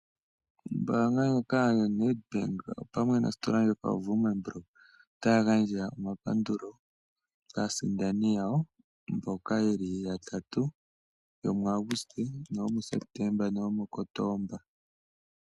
Ombaanga ndjoka yoStandard Bank opamwe nositola ndjoka yoWoermann Brock otaya gandja omapandulo kaasindani yawo yatatu mboka ya sindana muAuguste nomuKotoba.